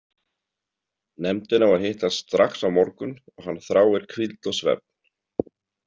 Nefndin á að hittast strax á morgun og hann þráir hvíld og svefn.